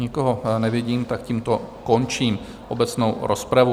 Nikoho nevidím, tak tímto končím obecnou rozpravu.